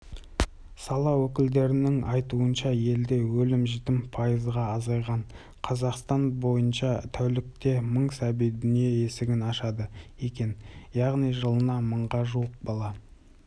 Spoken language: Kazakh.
сала өкілдерінің айтуынша елде өлім-жітім пайызға азайған қазақстан бойынша тәулікте мың сәби дүние есігін ашады екен яғни жылына мыңға жуық бала